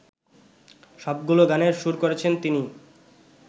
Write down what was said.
সবগুলো গানের সুর করেছেন তিনি